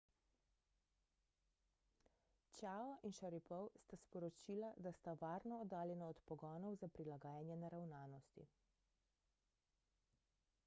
chiao in sharipov sta sporočila da sta varno oddaljena od pogonov za prilagajanje naravnanosti